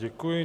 Děkuji.